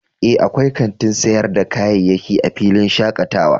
Ee, akwai kantin sayar da kayayyaki a filin shakatawa